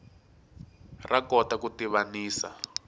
ra kota ku tivanisa